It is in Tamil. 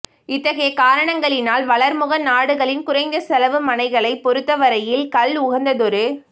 இத்தகைய காரணங்களினால் வளர்முக நாடுகளின் குறைந்த செலவு மனைகளைப் பொறுத்தவரையில் கல் உகந்ததொரு